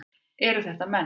Eru þetta menn?